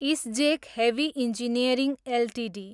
ISGEC heavy engineering Ltd